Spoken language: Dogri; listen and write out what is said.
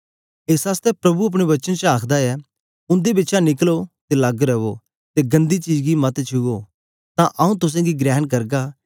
एस आसतै प्रभु अपने वचन च आखदा ऐ उन्दे बिचा निकलो ते लग्ग रवो ते गन्दी चीज गी मत छुओ तां आंऊँ तुसेंगी ग्रहण करगा